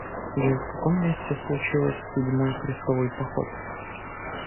джой в каком месте случилось седьмой крестовый поход